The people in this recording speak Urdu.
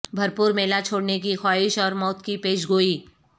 بھرپور میلہ چھوڑنے کی خواہش اور موت کی پیش گوئی